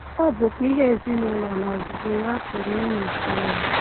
Ọ bụkwa ihe ezinụụlọ n’ozuzu ya pụrụ ịnụ ụtọ ya.